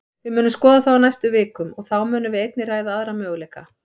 Við munum skoða það á næstu vikum, og þá munum við einnig ræða aðra möguleika.